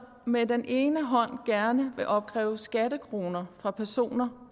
med den ene hånd gerne vil opkræve skattekroner fra personer